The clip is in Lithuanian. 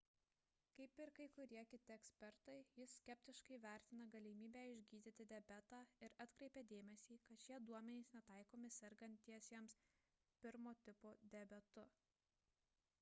kaip ir kai kurie kiti ekspertai jis skeptiškai vertina galimybę išgydyti diabetą ir atkreipia dėmesį kad šie duomenys netaikomi sergantiesiems 1 tipo diabetu